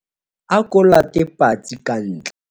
ako late patsi ka ntle